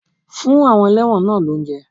Fún àwọn elẹ́wọ̀n náà lóúnjẹ!